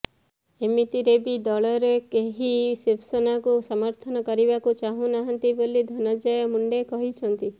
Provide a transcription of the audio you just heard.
ଏମତିରେ ବି ଦଳରେ କେହି ଶିବସେନାକୁ ସମର୍ଥନ କରିବାକୁ ଚାହୁଁନାହାନ୍ତି ବୋଲି ଧନଞ୍ଜୟ ମୁଣ୍ଡେ କହିଛନ୍ତି